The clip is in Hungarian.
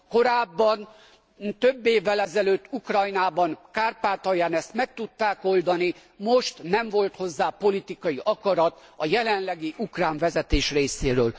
Korábban, több évvel ezelőtt Ukrajnában, Kárpátalján ezt meg tudták oldani, most nem volt hozzá politikai akarat a jelenlegi ukrán vezetés részéről.